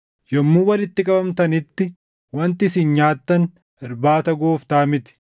Yommuu walitti qabamtanitti wanti isin nyaattan Irbaata Gooftaa miti;